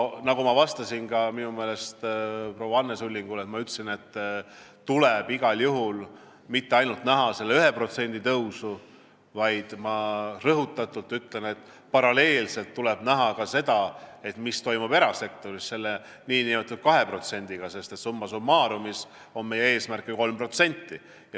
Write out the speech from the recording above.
Nagu ma vastasin ka minu meelest proua Anne Sullingule, igal juhul tuleb näha mitte ainult seda 1%, vaid ma rõhutatult ütlen, et paralleelselt tuleb vaadata ka seda, mis toimub erasektoris selle 2%-ga, sest summa summarum on meie eesmärk ju 3%.